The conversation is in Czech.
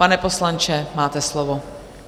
Pane poslanče, máte slovo.